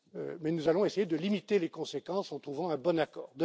as usual Mais nous allons essayer de limiter les conséquences en trouvant un bon